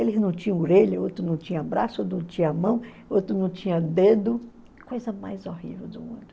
Eles não tinham orelha, outro não tinha braço, outro não tinha mão, outro não tinha dedo, coisa mais horrível do mundo.